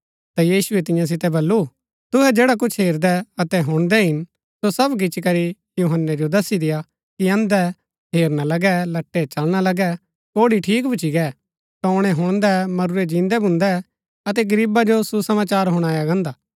ता यीशुऐ तियां सितै बल्लू तुहै जैडा कुछ हेरदै अतै हुणदै हिन सो सब गिच्ची करी यूहन्‍नै जो दसी देय्आ कि अन्धै हेरना लगै लटै चलना लगै कोढ़ी ठीक भुच्‍ची गै टोणै हुणदै मरुरै जिन्दै भून्दै अतै गरीबा जो सुसमाचार हुणाया गान्दा